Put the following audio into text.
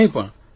કંઇ પણ